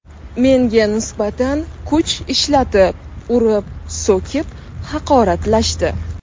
Menga nisbatan kuch ishlatib, urib, so‘kib, haqoratlashdi.